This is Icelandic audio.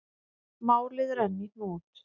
Málið er enn í hnút.